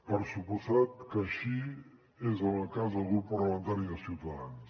per descomptat que així és en el cas del grup parlamentari de ciutadans